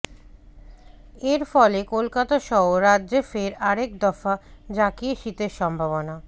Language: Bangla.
এর ফলে কলকাতাসহ রাজ্যে ফের আরেক দফা জাঁকিয়ে শীত এর সম্ভাবনা